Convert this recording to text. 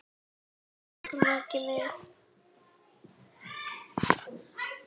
Elsku Maggi minn.